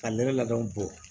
Ka nɛnɛ labɛnw bɔ